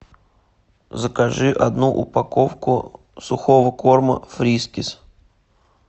закажи одну упаковку сухого корма фрискис